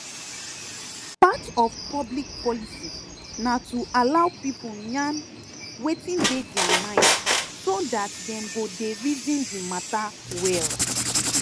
part of public policy na to allow people yarn wetin dey their mind so dat dem go dey reason di matter well